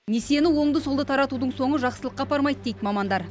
несиені оңды солды таратудың соңы жақсылыққа апармайды дейді мамандар